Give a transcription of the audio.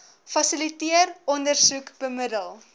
fasiliteer ondersoek bemiddel